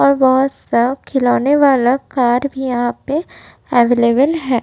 और बहोत सा खिलौने वाला कार भी यहाँ पे अवेलेबल है।